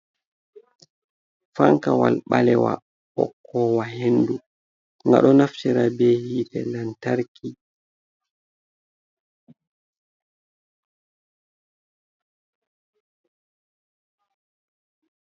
Fankawal ɓalewa hokowa hendu, nga ɗo naftira be hitte lamtarki.